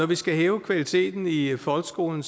vi skal hæve kvaliteten i folkeskolen